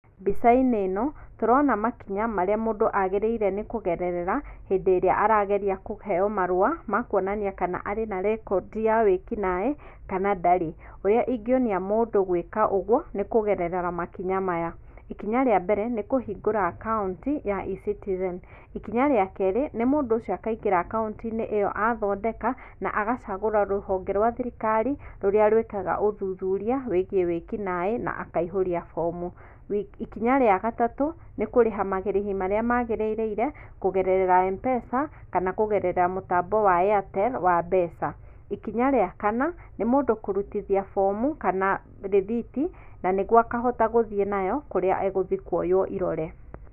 Mbica-inĩ ĩno tũrona makinya marĩa mũndũ agĩrĩire nĩ kũgerera hĩndĩ ĩrĩa arageria kũheo marũa ma kwonania kana arĩ na rekondi ya wĩkinaĩ kana ndarĩ, ũrĩa ingĩonia mũndũ gwĩka ũguo nĩ kũgerera makinya maya; ikinya rĩa mbere nĩ nĩ kũhingũra akaunti ya E-Citizen , ikinya rĩa kerĩ nĩ mũndũ ũcio akaingĩra akauntinĩ ĩyo athondeka na agachagũra rũhonge rwa thirikari rũrĩa rwĩkaga ũthuthuria wĩgiĩ wĩkinaĩ na akaihũroa fomu, ikinya rĩa gatatũ nĩ kũrĩha marĩhi marĩa magĩrĩire kũgerera Mpesa kana kũgerera mũtambo wa Airtel wa mbeca, ikinya rĩa kana nĩ mũndũ kũrutithia bomu kana rĩthiti nanĩguo akahota gũthiĩ nayo kũrĩa egũthiĩ kwoywo irore.